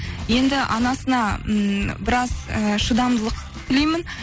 енді анасына ммм біраз і шыдамдылық тілеймін